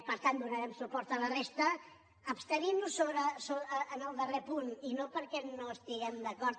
per tant donarem suport a la resta i ens abstindrem en el darrer punt i no perquè no estiguem d’acord